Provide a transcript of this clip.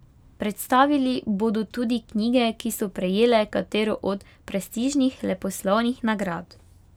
Predstavili bodo tudi knjige, ki so prejele katero od prestižnih leposlovnih nagrad.